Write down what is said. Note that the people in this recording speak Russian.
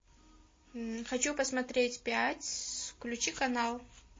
хочу посмотреть пять включи канал